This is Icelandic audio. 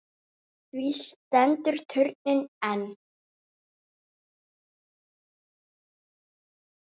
Því stendur turninn enn.